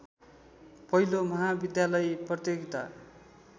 पहिलो महाविद्यालयी प्रतियोगिता